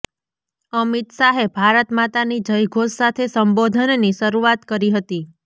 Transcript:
અમિત શાહે ભારત માતાની જયધોષ સાથે સંબોધનની શરૂઆત કરી હતી